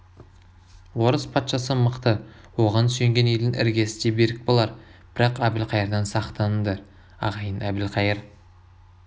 орыс патшасы мықты оған сүйенген елдің іргесі де берік болар бірақ әбілқайырдан сақтаныңдар ағайын әбілқайыр